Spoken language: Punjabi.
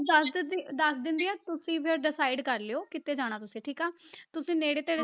ਦੱਸ ਦਿੰਦੀ ਦੱਸ ਦਿੰਦੀ ਹਾਂ, ਤੁਸੀਂ ਫਿਰ decide ਕਰ ਲਇਓ ਕਿੱਥੇ ਜਾਣਾ ਤੁਸੀਂ, ਠੀਕ ਆ ਤੁਸੀਂ ਨੇੜੇ ਤੇੜੇ